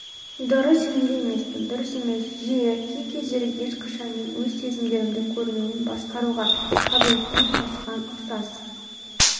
дұрыс сенімді емеспін дұрыс емес жиі кей-кездері ешқашан мен өз сезімдерімнің көрінуін басқаруға қабілеттімін осыған ұқсас